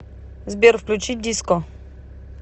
сбер включи диско